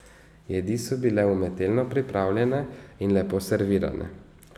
Pomagamo si z ravnimi in ukrivljenimi kleščami.